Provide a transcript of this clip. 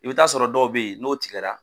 I bi t'a sɔrɔ dɔw bɛyi n'o tigɛra.